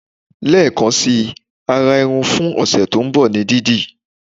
Lekan si ara irun fun ọsẹ to nbọ ní didi